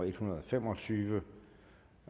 en hundrede og fem og tyve